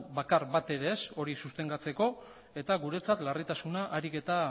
bakar bat ere ez hori sustengatzeko eta guretzat larritasuna gero eta